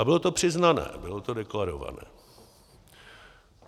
A bylo to přiznané, bylo to deklarované.